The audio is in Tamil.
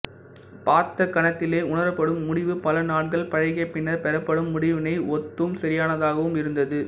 பார்த்த கணத்திலே உணரப்படும் முடிவு பலநாட்கள் பழகிய பின்னர் பெறப்படும் முடிவினை ஒத்தும் சரியானதாகவும் இருந்தது